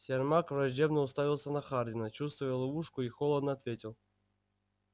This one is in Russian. сермак враждебно уставился на хардина чувствуя ловушку и холодно ответил